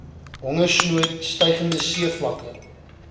hongersnood stygende seevlakke